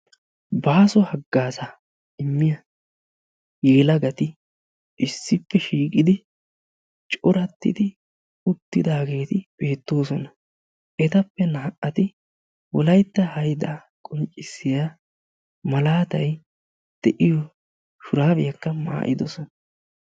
Baaso haggaazaa immiyaa yelagati issippe shiiqidi corattidi uttidaageti beettoosona. Etappe naa''ati wolaytta hayidaa qonccissiyaa malaatay de'iyo shuraabiyakka maa'idosona.